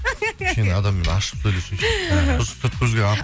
кішкене адаммен ашық сөйлессейші